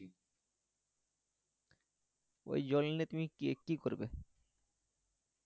ওই জল নিয়ে তুমি কি করবে?